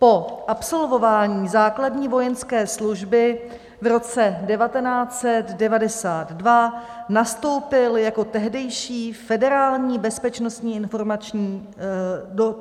Po absolvování základní vojenské služby v roce 1992 nastoupil do tehdejší Federální bezpečnostní informační služby.